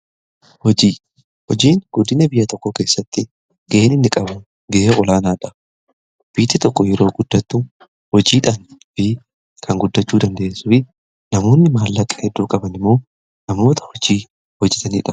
Hojiin guddina biyya tokko keessatti ga'een inni qabu ga'ee olaanaadha biyyi tokko yeroo guddattu hojiidhaan fi kan guddachuu dande'essu fi namoonni maallaqaa hedduu qaban immoo namoota hojii hojitaniidha.